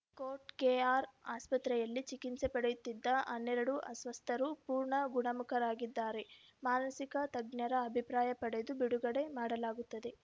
coat KR ಆಸ್ಪತ್ರೆಯಲ್ಲಿ ಚಿಕಿಮ್ಸೆ ಪಡೆಯುತ್ತಿದ್ದ ಹನ್ನೆರಡು ಅಸ್ವಸ್ಥರು ಪೂರ್ಣ ಗುಣಮುಖರಾಗಿದ್ದಾರೆ ಮಾನಸಿಕ ತಜ್ಞರ ಅಭಿಪ್ರಾಯ ಪಡೆದು ಬಿಡುಗಡೆ ಮಾಡಲಾಗುತ್ತದೆ